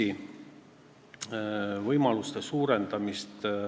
–, provintsi võimaluste suurendamist.